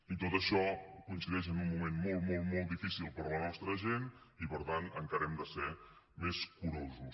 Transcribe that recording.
i tot això coincideix en un moment molt molt molt difícil per a la nostra gent i per tant encara hem de ser més curosos